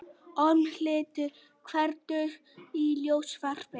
Ormhildur, kveiktu á sjónvarpinu.